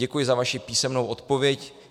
Děkuji za vaši písemnou odpověď.